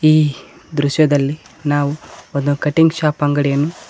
ಈ ದೃಶ್ಯದಲ್ಲಿ ನಾವು ಒಂದು ಕಟಿಂಗ್ ಶಾಪ್ ಅಂಗಡಿಯನ್ನು.